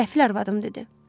Qəfil arvadım dedi: